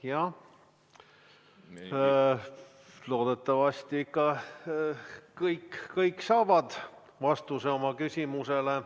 Jah, loodetavasti ikka kõik saavad vastuse oma küsimusele.